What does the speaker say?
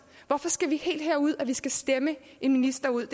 hvorfor skal vi helt herud hvor vi skal stemme en minister ud